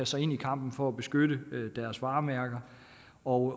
sig ind i kampen for at beskytte deres varemærker og